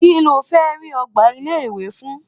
Kí ló fẹ́ rí ọ̀gá ilé-ìwé fún?